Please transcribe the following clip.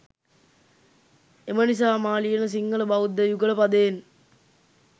එමනිසා මා ලියන සිංහල බෞද්ධ යුගල පදයෙන්